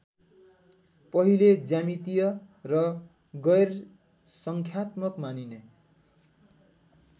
पहिले ज्यामितीय र गैरसङ्ख्यात्मक मानिने